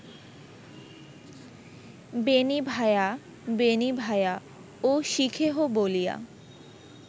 বেণী ভায়া, বেণী ভায়া ও শিখেহো বলিয়া